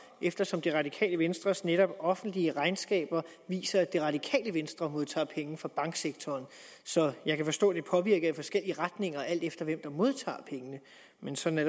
eftersom det radikale venstres netop offentliggjorte regnskaber viser at det radikale venstre modtager penge fra banksektoren så jeg kan forstå at det påvirker i forskellige retninger alt efter hvem der modtager pengene men sådan er